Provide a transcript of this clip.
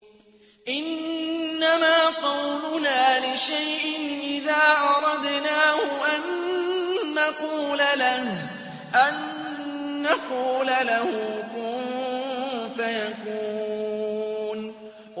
إِنَّمَا قَوْلُنَا لِشَيْءٍ إِذَا أَرَدْنَاهُ أَن نَّقُولَ لَهُ كُن فَيَكُونُ